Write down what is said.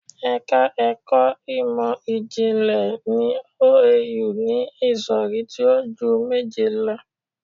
Ẹ̀ka ẹkọ Ìmọ̀-jìnlẹ̀ ní OAU ni ìsọ̀rí tí o ju méje lọ.